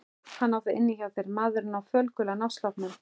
Hann á það inni hjá þér maðurinn á fölgula náttsloppnum.